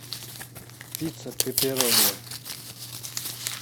пицца пепперони